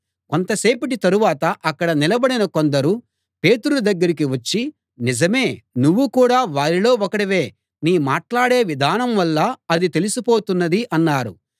కొంతసేపటి తరువాత అక్కడ నిలబడిన కొందరు పేతురు దగ్గరికి వచ్చి నిజమే నువ్వు కూడా వారిలో ఒకడివే నీ మాట్లాడే విధానం వల్ల అది తెలిసిపోతున్నది అన్నారు